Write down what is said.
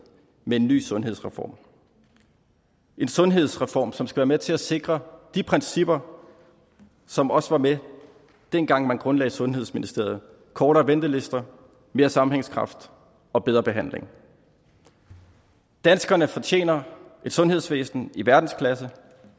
med en ny sundhedsreform en sundhedsreform som skal være med til at sikre de principper som også var med dengang man grundlagde sundhedsministeriet kortere ventelister mere sammenhængskraft og bedre behandling danskerne fortjener et sundhedsvæsen i verdensklasse